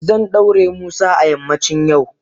Zan daure musa a yammacin yau.